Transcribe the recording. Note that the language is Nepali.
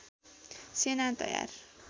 सेना तयार